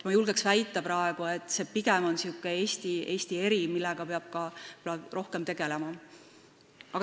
Ma julgen praegu väita, et see on pigem Eesti eripära, millega peab võib-olla rohkem tegelema.